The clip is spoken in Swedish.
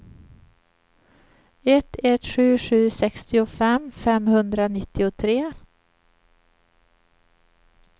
ett ett sju sju sextiofem femhundranittiotre